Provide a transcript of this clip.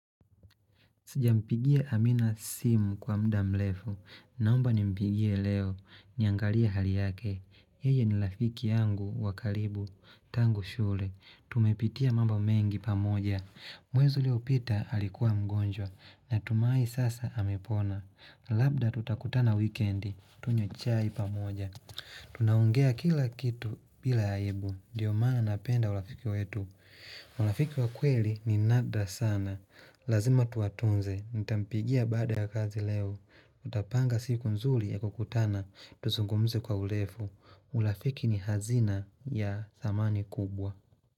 Sija mpigia amina simu kwa muda mrefu. Naomba ni mpigie leo. Niangalie hali yake. Yeye ni rafiki yangu wa karibu. Tangu shule. Tumepitia mambo mengi pamoja. Mwezi uliopita alikuwa mgonjwa. Natumai sasa amepona. Labda tutakutana wikendi. Tunywe chai pamoja. Tunaongea kila kitu bila aibu ndiyo maana napenda urafiki wetu urafiki wa kweli ni nadra sana Lazima tuwatunze Nitampigia baada ya kazi leo tutapanga siku nzuri ya kukutana Tuzungumze kwa urefu urafiki ni hazina ya zamani kubwa.